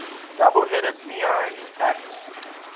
double headed minoan axe